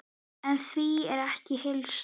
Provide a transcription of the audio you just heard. En því er ekki að heilsa.